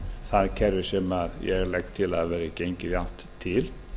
hagkerfi sem ég legg til að verði gengið í átt til